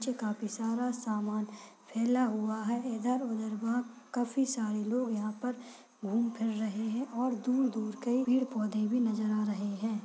पे सारा सामना फैला हुवा है इधर उधर बहुत काफी सारे लोग यह पर घूम फिर रहे है और दूर दूर काही पेड़ पौधे भी नजर आ रहे है।